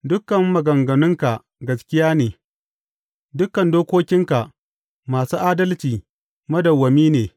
Dukan maganganunka gaskiya ne; dukan dokokinka masu adalci madawwami ne.